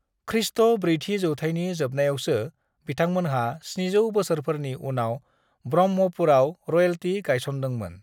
ख्रीष्ट ब्रैथि जौथायनि जोबनायावसो बिथांमोनहा 700 बोसोरफोरनि उनाव ब्रह्मपुरआव रयेल्टी गायसनदोंमोन।